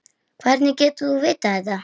Hvernig getur þú vitað þetta?